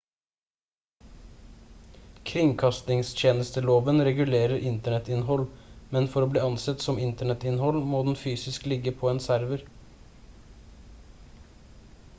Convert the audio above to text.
kringkastingstjenesteloven regulerer internettinnhold men for å bli ansett som internettinnhold må det fysisk ligge på en server